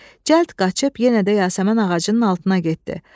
Cəld qaçıb yenə də yasəmən ağacının altına getdi.